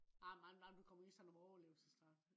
nej nej du kommer i sådan en overlevelsesdragt